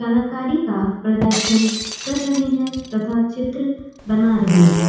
कलाकारी का प्रदर्शन कर रहे है तथा चित्र बना रहे है।